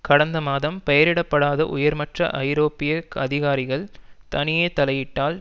கடந்த மாதம் பெயரிடப்படாத உயர்மட்ட ஐரோப்பிய அதிகாரிகள் தனியே தலையிட்டால்